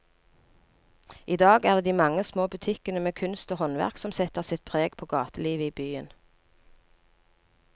I dag er det de mange små butikkene med kunst og håndverk som setter sitt preg på gatelivet i byen.